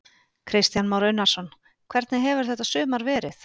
Kristján Már Unnarsson: Hvernig hefur þetta sumar verið?